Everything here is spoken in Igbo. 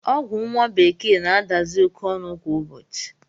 Ọgwụ nwa bekee na-adazi oké ọnụ kwa ụbọchị